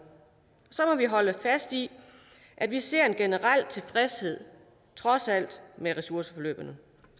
så må vi holde fast i at vi ser en generel tilfredshed trods alt med ressourceforløbene